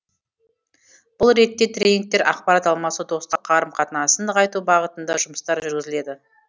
бұл ретте тренингтер ақпарат алмасу достық қарым қатынасын нығайту бағытында жұмыстар жүргізіледі